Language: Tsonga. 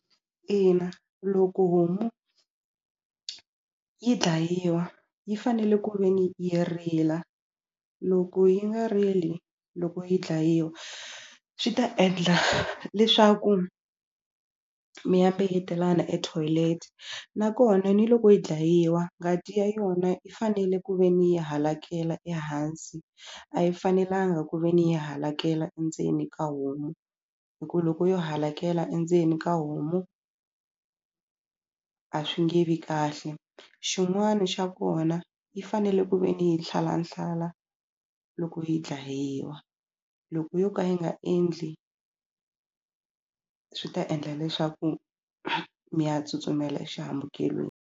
Ina loko homu yi dlayiwa yi fanele ku ve ni yi rila loko yi nga rili loko yi dlayiwa swi ta endla leswaku mi ya mbeyetelana e toilet nakona ni loko yi dlayiwa ngati ya yona yi fanele ku ve ni yi halakela ehansi a yi fanelanga ku ve ni yi halakela endzeni ka homu hi ku loko yo hakela endzeni ka homu a swi nge vi kahle xin'wani xa kona yi fanele ku ve ni hi nhlalanhlala loko yi dlayiwa loko yo ka yi nga endli swi ta endla leswaku mi ya tsutsumela exihambukelweni.